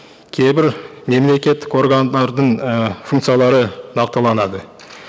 кейбір мемлекеттік органдардың і функциялары нақтыланады